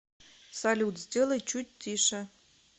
салют сделай чуть тише